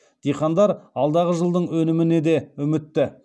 диқандар алдағы жылдың өніміне де үмітті